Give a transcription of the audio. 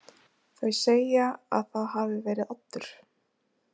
Þau segja að það hafi verið Oddur.